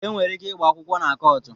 E nwere ike ịgba akwụkwọ na kọọtụ